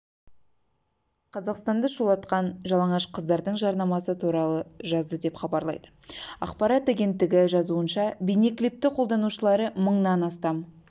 жалаңаш стюардессалар түскен компаниясының жарнамалық ролигі желіде тез тарады олар әуе билеттерін жалаңаш стюардессалар арқылы жарнамалаған